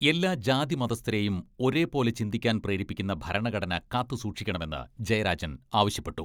എല്ലാ ജാതിമതസ്ഥരേയും ഒരേ പോലെ ചിന്തിയ്ക്കാൻ പ്രേരിപ്പിക്കുന്ന ഭരണഘടന കാത്ത് സൂക്ഷിക്കണമെന്ന് ജയരാജൻ ആവശ്യപ്പെട്ടു.